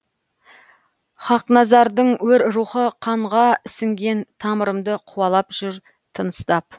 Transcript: хақназардың өр рухы қанға сіңген тамырымды қуалап жүр тыныстап